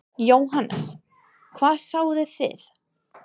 Jóhannes: Hvað sáuð þið?